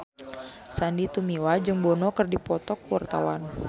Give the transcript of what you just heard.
Sandy Tumiwa jeung Bono keur dipoto ku wartawan